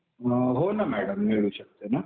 हो ना मॅडम मिळू शकते ना.